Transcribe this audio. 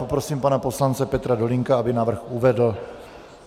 Poprosím pana poslance Petra Dolínka, aby návrh uvedl.